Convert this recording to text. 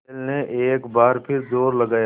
बैल ने एक बार फिर जोर लगाया